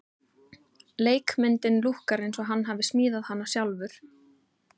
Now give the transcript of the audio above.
Leikmyndin lúkkar eins og hann hafi smíðað hana sjálfur.